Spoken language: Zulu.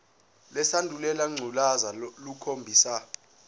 lesandulela ngculazi lukhombisa